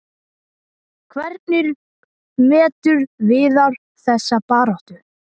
Hvernig metur Viðar þessa baráttu?